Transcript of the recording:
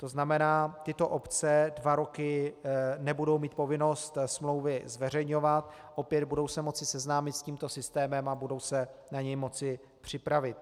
To znamená, tyto obce dva roky nebudou mít povinnost smlouvy zveřejňovat, opět, budou se moci seznámit s tímto systémem a budou se na něj moci připravit.